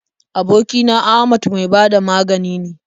Aboki na Ahmad mai ba da magani ne.